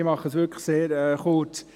Ich mache es wirklich sehr kurz.